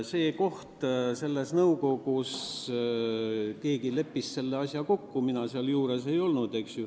See koht selles nõukogus – keegi leppis selle asja kokku, mina seal juures ei olnud.